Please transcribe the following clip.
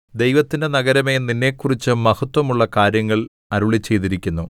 ദൈവത്തിന്റെ നഗരമേ നിന്നെക്കുറിച്ച് മഹത്ത്വമുള്ള കാര്യങ്ങൾ അരുളിച്ചെയ്തിരിക്കുന്നു സേലാ